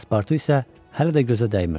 Paspartu isə hələ də gözə dəymirdi.